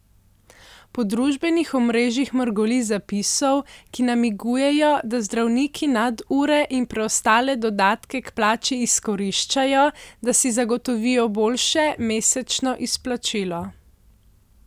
Po družbenih omrežjih mrgoli zapisov, ki namigujejo, da zdravniki nadure in preostale dodatke k plači izkoriščajo, da si zagotovijo boljše mesečno izplačilo.